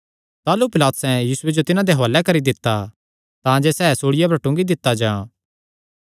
ताह़लू पिलातुसैं यीशुये जो तिन्हां दे हुआले करी दित्ता तांजे सैह़ सूल़िया पर टूंगी दित्ता जां